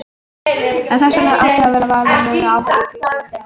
Og vegna þess að hann átti þetta val ber hann ábyrgð á því sem gerist.